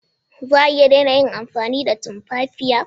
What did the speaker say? Za a iya daina amfani da tumfafiya?